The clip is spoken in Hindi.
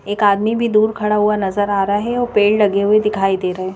एक आदमी भी दूर खड़ा हुआ नजर आ रहा है और पेड़ लगे हुए दिखाई दे रहे हैं।